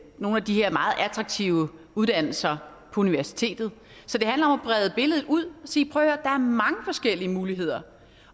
nogle af de her meget attraktive uddannelser på universitetet så det handler om at brede billedet ud og sige prøv at høre er mange forskellige muligheder